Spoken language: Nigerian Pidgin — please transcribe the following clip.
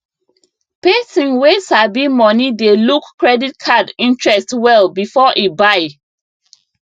person wey sabi money dey look credit card interest well before e buy